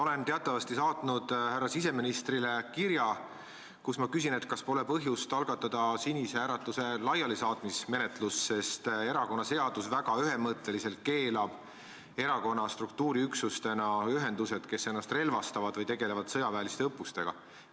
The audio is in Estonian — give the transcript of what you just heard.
Olen teatavasti saatnud härra siseministrile kirja, kus ma küsin, kas pole põhjust algatada Sinise Äratuse laialisaatmise menetlust, sest erakonnaseadus keelab väga ühemõtteliselt erakonna struktuuriüksustena ühendused, kes ennast relvastavad või tegelevad sõjaväeliste õppustega.